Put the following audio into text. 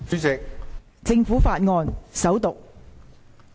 政府法案：首讀。